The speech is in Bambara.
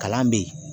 Kalan bɛ yen